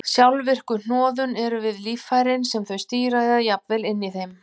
Sjálfvirku hnoðun eru við líffærin sem þau stýra eða jafnvel inni í þeim.